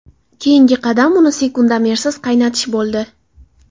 Keyingi qadam uni sekundomersiz qaynatish bo‘ldi.